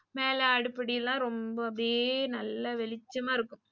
மேல அடுப்படிலாம் ரொம்ப அப்டியே நல்லா வெளிச்சம்மா இருக்கும்.